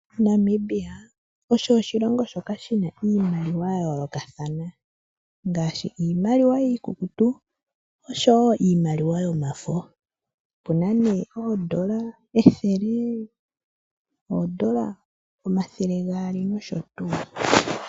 Namibia osho oshilongo shoka shina iimaliwa ya yoolokathana ngaashi iimaliwa iikukutu niimaliwa yomafo ngaashi oondola ethele, oondola amathe gaali nosho tuu.